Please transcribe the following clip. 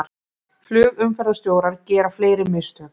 Flugumferðarstjórar gera fleiri mistök